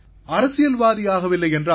அரசியல்வாதியாகவில்லை என்றால்